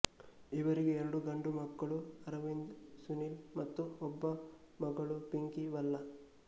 ಇವರಿಗೆ ಎರಡು ಗಂಡುಮಕ್ಕಳು ಅರವಿಂದ್ ಸುನಿಲ್ ಮತ್ತು ಒಬ್ಬ ಮಗಳು ಪಿಂಕಿ ಭಲ್ಲಾ